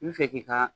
I bɛ fɛ k'i ka